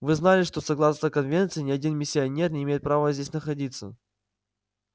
вы знали что согласно конвенции ни один миссионер не имеет права здесь находиться